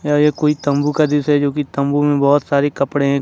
और ये कोई तंबू का दृश्य है जो की तंबू में बहुत सारी कपड़े हैं।